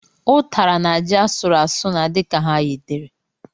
Utara na ji asụrụ asụ na-adi ka ha yitere.